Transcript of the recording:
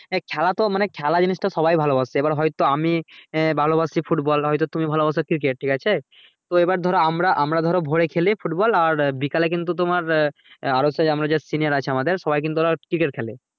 খেলা তো খেলা জিনিষটা সবাই ভালোবাসে এবার হয়তো আমি ভালোবাসি football হতো তুমি ভালোবাসি cricket ঠিক আছে তো আবার ধরো আমরা আমরা ধরো ভোরে খেলি football বিকালে কিন্তু তোমার আরো সেই যে senior আছে আমাদের সত্যি কিন্তু ওরা cricket খেলে